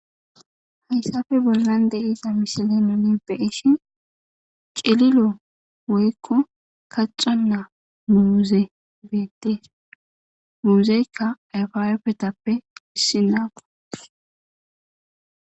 hayssafe bollan deiza mishile nuni beeshin celilo woykko kaxa naa muuze beetee muuzeykka ayfaweppetappe issi naafa